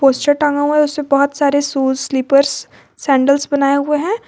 टांगा हुआ है बहुत सारे शूज स्लिपर्स सैंडलस बनाए हुए हैं।